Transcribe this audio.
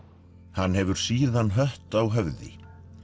hann hefur síðan hött á höfði